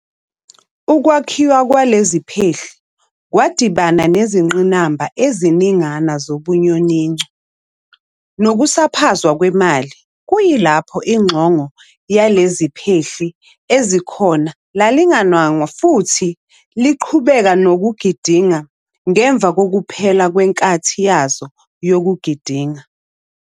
Ukwakhiwa kwaleziphehli kwadibana nezingqinamba eziningana zobunyoninco nokusaphazwa kwemali kuyilapho ixongo leziphehli ezikhona lalingananwa futhi liqhubeka nokugidinga nangemva kokuphela kwenkathi yazo yokugidinga.